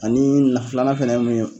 Ani na filanan fɛnɛ ye mun ye.